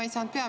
Aitäh!